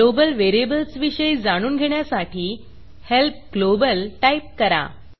global variables विषयी जाणून घेण्यासाठी हेल्प globalहेल्प ग्लोबल टाईप करा